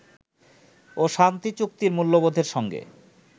ও শান্তিচুক্তির মূল্যবোধের সঙ্গে